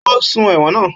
Ó sùn ẹ̀wọ̀n náà